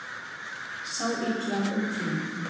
Sá illa um tíma